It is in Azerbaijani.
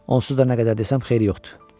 Onsuz da nə qədər desəm xeyri yoxdur.